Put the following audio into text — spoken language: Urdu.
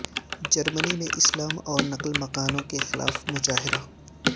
جرمنی میں اسلام اور نقل مکانوں کے خلاف مظاہرہ